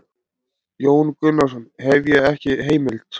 Jón Gunnarsson: Hef ég ekki heimild?